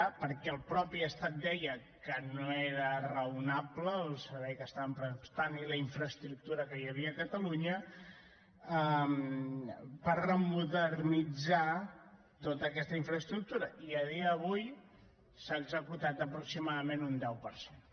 perquè el mateix estat deia que no era raonable el servei que estaven prestant i la infraestructura que hi havia a catalunya per remodernitzar tota aquesta infraestructura i a dia d’avui s’ha executat aproximadament un deu per cent